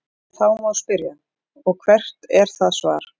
Þá má spyrja: Og hvert er það svar?.